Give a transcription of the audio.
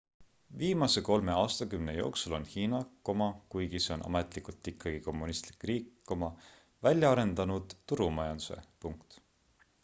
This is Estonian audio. viimase kolme aastakümne jooksul on hiina kuigi see on ametlikult ikkagi kommunistlik riik välja arendanud turumajanduse